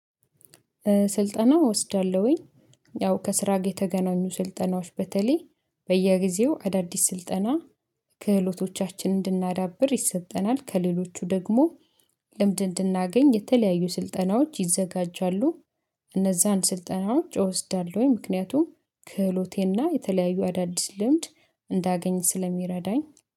ስልጠና እወስዳለሁኝ ያው ከስራ ጋር የተገናኙ ስልጠናዎች በተለይ በየጊዜው አዳዲስ ስልጠና ክህሎቶቻችንን እንድናዳብር ይሰጠናል ከሌሎቹ ደግሞ ልምድ እንድናገኝ የተለያዩ ስልጠናዎች ይዘጋጃሉ። እነዛን ስልጠናዎች እወስዳለሁኝ ምክንያቱም ክህሎቴና የተለያዩ አዳዲስ ልምድ እንዳገኝ ስለሚረዳኝ።